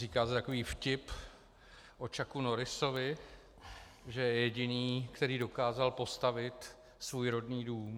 Říká se takový vtip o Chucku Norrisovi, že je jediný, který dokázal postavit svůj rodný dům.